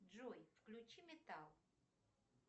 джой включи металл